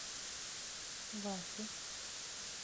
васю